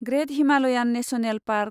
ग्रेत Himalayan National park